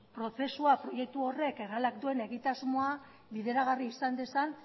prozesua proiektu horrek errealak duen egitasmoa bideragarri izan dezan